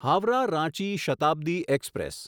Howrah Ranchi Shatabdi express